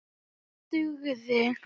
Það dugði.